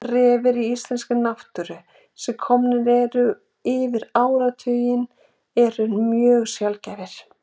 Refir í íslenskri náttúru sem komnir eru yfir áratuginn eru mjög sjaldgæfir.